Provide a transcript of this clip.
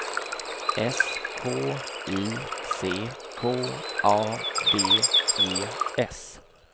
S K I C K A D E S